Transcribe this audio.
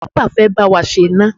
NEPA fẹ́ bá wa ṣe iná.